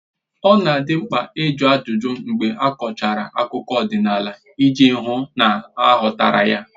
Ọ na adị mkpa ịjụ ajụjụ mgbe a kọchara akụkọ ọdịnala iji hụ na a ghọtara ya